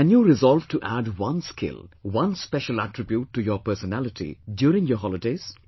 Can you resolve to add one skill, one special attribute to your personality, during your holidays